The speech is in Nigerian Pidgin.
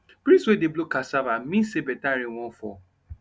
breeze wey dey blow cassava mean say better rain wan fall